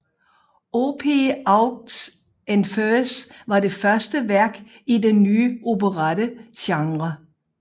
Orphee aux enfers var det første værk i den nye operettegenre